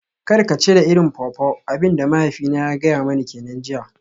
Kar ka cire irin pawpaw, abin da mahaifina ya gaya mani kenan jiya.